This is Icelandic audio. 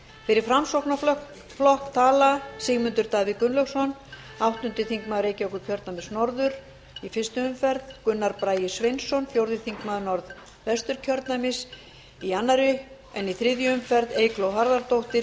fyrir framsóknarflokk tala sigmundur davíð gunnlaugsson áttundi þingmaður reykjavíkurkjördæmis norður í fyrstu umferð gunnar bragi sveinsson fjórði þingmaður norðvesturkjördæmis í annarri en í þriðju umferð eygló harðardóttir